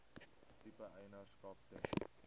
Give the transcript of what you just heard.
tipe eienaarskap ten